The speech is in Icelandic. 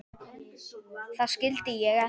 Það skildi ég ekki.